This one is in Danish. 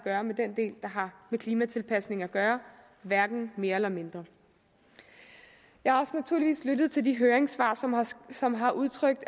gøre med den del der har med klimatilpasning at gøre hverken mere eller mindre jeg har naturligvis også lyttet til de høringssvar som har udtrykt